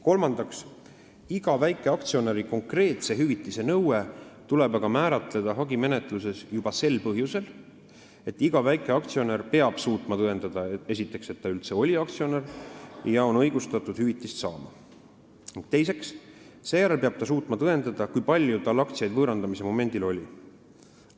Kolmandaks, iga väikeaktsionäri konkreetse hüvitise nõue tuleb aga määratleda hagimenetluses juba sel põhjusel, et iga väikeaktsionär peab esiteks suutma tõendada, et ta üldse oli aktsionär ja on õigustatud hüvitist saama, teiseks peab ta suutma tõendada, kui palju tal aktsiaid võõrandamise momendil oli.